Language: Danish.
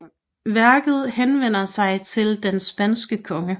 Værket er henvendt til den spanske konge